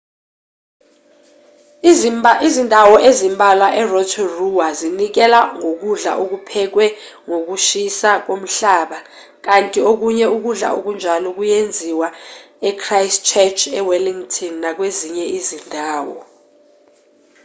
izindawo ezimbalwa e-rotorua zinikela ngokudla okuphekwe ngokushisa komhlaba kanti okunye ukudla okunjalo kuyenziwa e-christchurch e-wellington nakwezinye izindawo